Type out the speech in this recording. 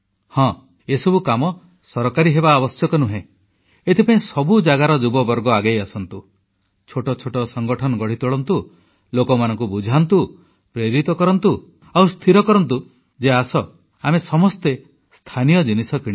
ହଁ ଏସବୁ କାମ ସରକାରୀ ହେବା ଆବଶ୍ୟକ ନୁହେଁ ଏଥିପାଇଁ ସବୁ ଜାଗାର ଯୁବବର୍ଗ ଆଗେଇ ଆସନ୍ତୁ ଛୋଟଛୋଟ ସଂଗଠନ ଗଢ଼ିତୋଳନ୍ତୁ ଲୋକମାନଙ୍କୁ ବୁଝାନ୍ତୁ ପ୍ରେରିତ କରନ୍ତୁ ଓ ସ୍ଥିର କରନ୍ତୁ ଯେ ଆସ ଆମେ ସମସ୍ତେ ସ୍ଥାନୀୟ ଜିନିଷ କିଣିବା